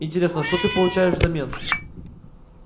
интересно что ты получаешь взамен